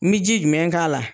N mi ji jumɛn k'a la ?